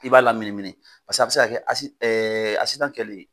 I b'a laminimini paseke a bɛ se ka kɛ kɛlen,